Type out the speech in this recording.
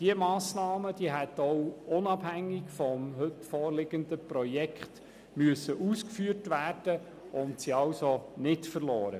Diese Massnahmen hätten auch unabhängig vom heute vorliegenden Projekt ausgeführt werden müssen und sind somit nicht verloren.